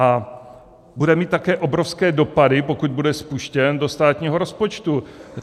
A bude mít také obrovské dopady, pokud bude spuštěn, do státního rozpočtu.